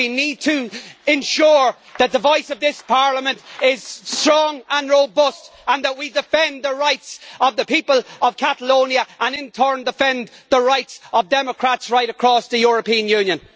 We need to ensure that the voice of this Parliament is strong and robust and that we defend the rights of the people of Catalonia and in turn defend the rights of democrats right across the European Union.